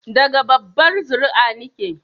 Daga babbar zuri'a nike